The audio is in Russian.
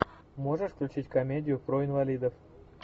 можешь включить комедию про инвалидов